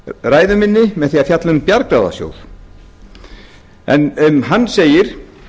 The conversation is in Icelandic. ræðu minni með því að fjalla um bjargráðasjóð en um hann segir